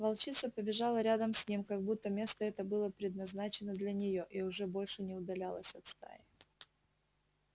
волчица побежала рядом с ним как будто место это было предназначено для нее и уже больше не удалялась от стаи